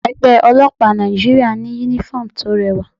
Ẹgbẹ́ ọlọ́pàá Nàìjíríà ní uniform tó rẹwà.